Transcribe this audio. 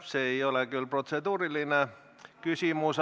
See ei ole küll protseduuriline küsimus.